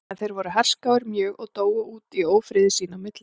En þeir voru herskáir mjög og dóu út í ófriði sín á milli.